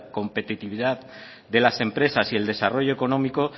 competitividad de las empresas y el desarrollo económico